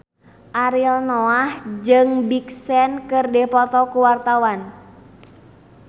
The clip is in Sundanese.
Ariel Noah jeung Big Sean keur dipoto ku wartawan